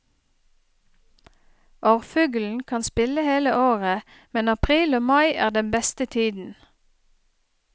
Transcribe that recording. Orrfuglen kan spille hele året, men april og mai er den beste tiden.